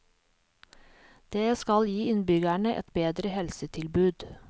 Det skal gi innbyggerne et bedre helsetilbud.